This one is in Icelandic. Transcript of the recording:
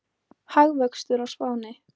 Hagvöxtur á Spáni